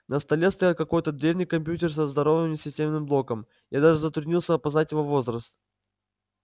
на столе стоял какой-то древний компьютер со здоровыми системным блоком я даже затруднился опознать его возраст